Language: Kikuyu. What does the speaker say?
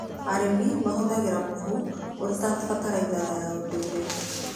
Arĩmi mahũthagĩra mũhu ũrĩ ta bataraitha ya ndũire.